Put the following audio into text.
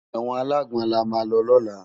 Ewòn àlágbòn làmá lò lòlá